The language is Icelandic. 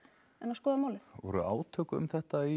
skoða málið voru átök um þetta